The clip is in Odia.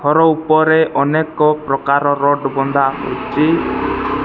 ଘର ଉପରେ ଅନେକ ପ୍ରକାରର ଚି।